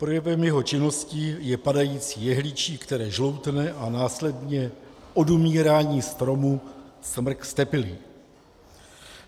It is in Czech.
Projevem jeho činnosti je padající jehličí, které žloutne, a následně odumírání stromu, smrk ztepilý.